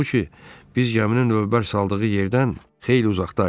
Halbuki biz gəminin lövbər saldığı yerdən xeyli uzaqda idik.